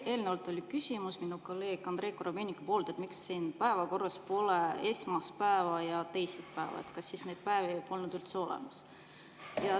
Eelnevalt oli küsimus minu kolleegil Andrei Korobeinikul, et miks selles päevakorras pole esmaspäeva ja teisipäeva ning kas neid päevi polnud üldse olemas.